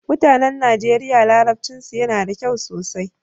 Mutanen Nigeria larabcinsu yana da kyau sosai.